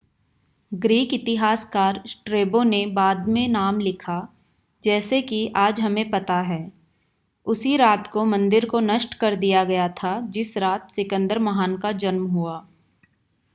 Greek इतिहासकार Strabo ने बाद में नाम लिखा जैसे की आज हमें पता है उसी रात को मंदिर को नष्ट कर दिया गया था जिस रात सिकंदर महान का जन्म हुआ